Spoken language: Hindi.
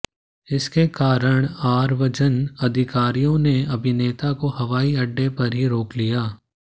इसके कारण आव्रजन अधिकारियों ने अभिनेता को हवाई अड्डे पर ही रोक लिया